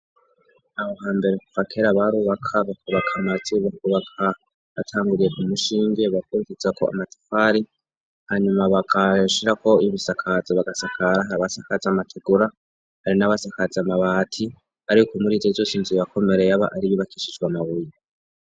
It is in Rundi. Qho hambere kuva kera barubaka, bakubaka amatsi, bakubaka batanguriye ku mushinge, bakurikizako amatafari hanyuma bagashirako ibisakazo bagasakara. Hari abasakaza amategura, hari n'abasakaza amabati, ariko muri izo zose inzuye yakomere yaba ari iyubakishijwe amabuye.